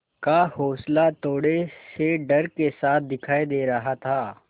का हौंसला थोड़े से डर के साथ दिखाई दे रहा था